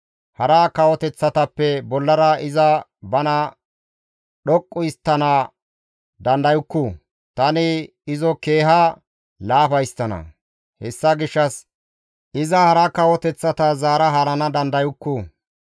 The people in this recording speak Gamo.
Hara kawoteththatappe bollara iza bana dhoqqu histtana dandayukku; tani izo keeha laafa histtana; hessa gishshas iza hara kawoteththata zaara haarana dandayukku.